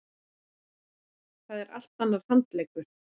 Það er allt annar handleggur.